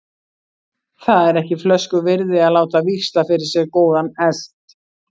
Það er ekki flösku virði að láta víxla fyrir sér góðan hest.